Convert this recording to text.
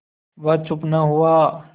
वह चुप न हुआ